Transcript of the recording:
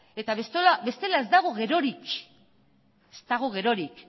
eta bestela ez dago gerorik